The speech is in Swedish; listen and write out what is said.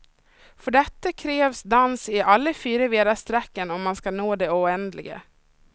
För detta krävs dans i alla fyra väderstrecken om man ska nå det oändliga.